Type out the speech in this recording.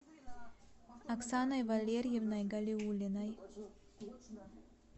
оксаной валерьевной галиуллиной